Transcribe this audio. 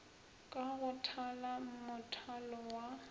ka go thala mothalo wa